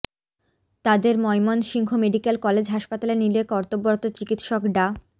তাঁদের Mymensingh medical college হাসপাতালে নিলে কর্তব্যরত চিকিৎসক ডা